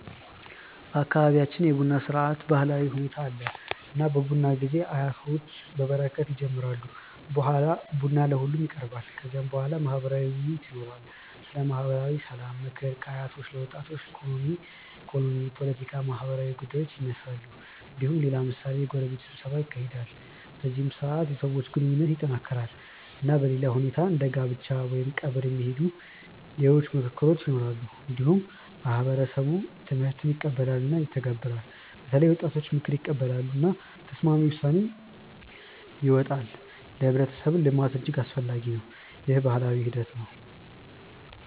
በአካባቢያችን የቡና ስርዓት ባህላዊ ሁኔታ አለ። እና በቡና ጊዜ አያቶች በበረከት ይጀምራሉ። በኋላ ቡና ለሁሉም ይቀርባል። ከዚያ በኋላ ማህበራዊ ውይይት ይኖራል። ስለ ማህበራዊ ሰላም፣ ምክር ከአያቶች ለወጣቶች፣ ኢኮኖሚ፣ ፖለቲካ፣ ማህበራዊ ጉዳዮች ይነሳሉ። እንዲሁም ሌላ ምሳሌ የጎረቤት ስብሰባ ይካሄዳል። በዚህ ስርዓት የሰዎች ግንኙነት ይጠናከራል። እና በሌላ ሁኔታዎች እንደ ጋብቻ ወይም ቀብር የሚካሄዱ ሌሎች ምክክሮች ይኖራሉ። እንዲሁም ማህበረሰብ ትምህርት ይቀበላል እና ይተገበራል። በተለይም ወጣቶች ምክር ይቀበላሉ። እና ተስማሚ ውሳኔ ይወጣል። ለህብረተሰብ ልማት እጅግ አስፈላጊ ነው። ይህ ባህላዊ ሂደት ነው።